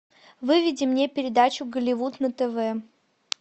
выведи мне передачу голливуд на тв